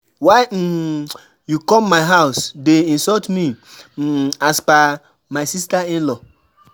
Why um you come my house dey insult me, um as per my sister in-law.